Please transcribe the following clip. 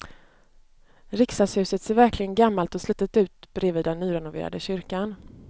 Riksdagshuset ser verkligen gammalt och slitet ut bredvid den nyrenoverade kyrkan.